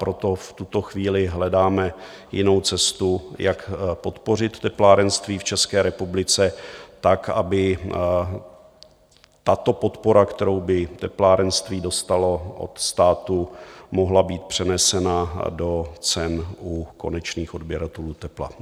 Proto v tuto chvíli hledáme jinou cestu, jak podpořit teplárenství v České republice tak, aby tato podpora, kterou by teplárenství dostalo od státu, mohla být přenesena do cen u konečných odběratelů tepla.